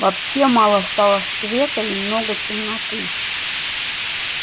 вообще мало стало света и много темноты